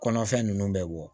Kɔnɔfɛn nunnu bɛ bɔ